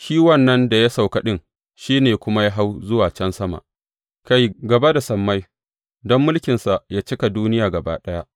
Shi wannan da ya sauka ɗin, shi ne kuma ya hau zuwa can sama, kai, gaba da sammai, don mulkinsa yă cika duniya gaba ɗaya.